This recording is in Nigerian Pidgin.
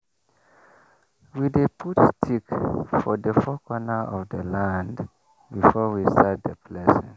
we dey put stick for the four corner of the land before we start the blessing.